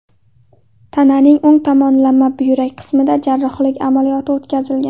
Tananing o‘ng tomonlama buyrak qismida jarrohlik amaliyoti o‘tkazilgan.